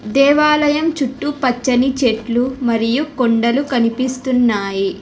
దేవాలయం చుట్టూ పచ్చని చెట్లు మరియు కొండలు కనిపిస్తున్నాయి.